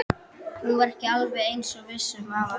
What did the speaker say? Hún var ekki alveg eins viss um afa og ömmu.